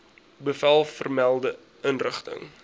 bevel vermelde inrigting